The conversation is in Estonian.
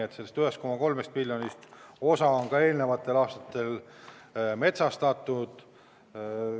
Osa sellest 1,3 miljonist on eelnenud aastatel metsastatud.